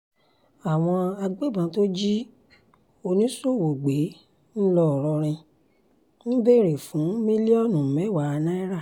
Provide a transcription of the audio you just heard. àwọn agbébọ́n tó jí oníṣòwò gbé ńlọrọrìn ń béèrè fún mílíọ̀nù mẹ́wàá náírà